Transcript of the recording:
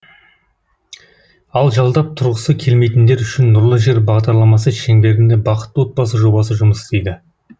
ал жалдап тұрғысы келмейтіндер үшін нұрлы жер бағдарламасы шеңберінде бақытты отбасы жобасы жұмыс істейді